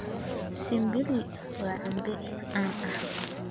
Simbili waa cambe caan ah.